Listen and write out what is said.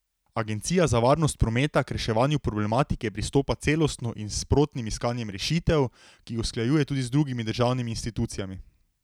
Agencija za varnost prometa k reševanju problematike pristopa celostno in s sprotnim iskanjem rešitev, ki jih usklajuje tudi z drugimi državnimi institucijami.